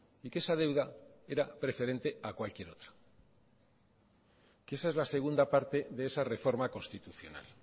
y que esa deuda era preferente a cualquier otra esa es la segunda parte de esa reforma constitucional